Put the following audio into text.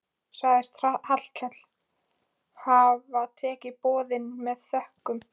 Sagðist Hallkell hafa tekið boðinu með þökkum.